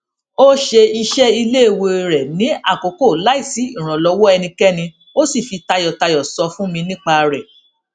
ó ṣe iṣé iléiwé rè ni àkókó láìsí ìrànlówó ẹnikéni ó sì fi tayòtayò sọ fún mi nípa rè